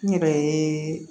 N yɛrɛ ye